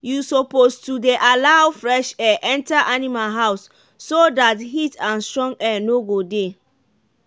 you suppose to dey allow fresh air enter animal house so dat heat and strong air no go dey.